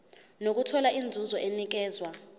nokuthola inzuzo enikezwa